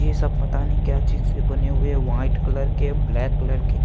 ये सब पता नहीं क्या चीज से बने हुए है व्हाइट कलर के ब्लैक कलर के--